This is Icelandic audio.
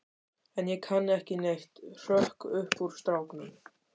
En ég kann ekki neitt, hrökk upp úr stráknum.